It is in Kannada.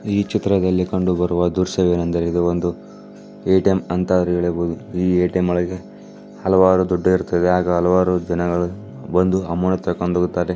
ಈ ಚಿತ್ರದಲ್ಲಿ ಕಂಡುಬರುವ ದ್ರಶ್ಯವೇನೆಂದರೆ ಇದು ಒಂದು ಎ_ಟಿ_ಎಂ ಅಂತಾರು ಹೇಳಬಹುದು ಈ ಎ_ಟಿ_ಎಂ ನಲ್ಲಿ ಹಲವಾರು ದುಡ್ಡು ಇರುತ್ತದೆ ಅಗ ಹಲವಾರು ಜನಗಳು ಬಂದು ಅಮೌಂಟ್ತೆಕ್ಕೊಂಡು ಹೋಗುತ್ತಾರೆ.